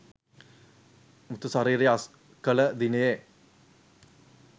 මෘතශරීරය අස්කළ දිනයේ